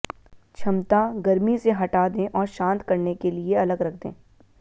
क्षमता गर्मी से हटा दें और शांत करने के लिए अलग रख दें